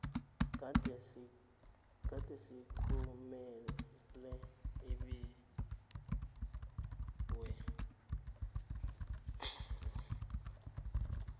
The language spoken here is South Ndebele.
gadesi kumele abiwe